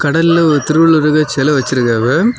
கடல்ல ஒரு திருவள்ளுவருக்கு சிலை வச்சிருக்காவ.